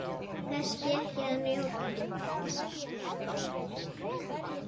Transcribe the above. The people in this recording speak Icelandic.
Þess fékk ég að njóta.